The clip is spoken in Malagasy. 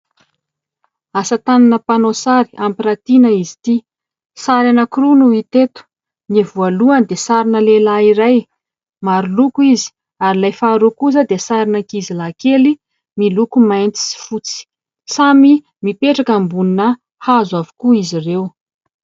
Asa tanana mpanao sary hampiratiana izy ity, sary anankiroa no hita eto: ny voalohany dia sarina lehilahy iray, maro loko izy ary ilay faharoa kosa dia sarina ankizy lahy kely miloko mainty sy fotsy; samy mipetraka ambonina hazo avokoa izy ireo.